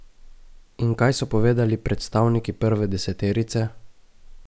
In kaj so povedali predstavniki prve deseterice?